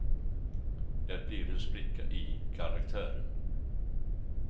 Det blir en spricka i karaktären.